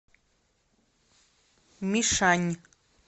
мишань